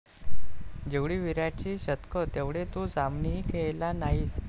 जेवढी विराटची शतकं तेवढे तू सामनेही खेळला नाहीस